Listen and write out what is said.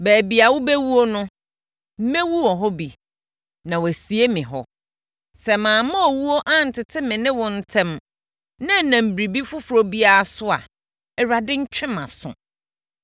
Baabi a wobɛwuo no, mɛwu hɔ bi na wɔasie me hɔ. Sɛ mamma owuo antete me ne wo ntam na ɛnam biribi foforɔ biara so a, Awurade ntwe mʼaso.”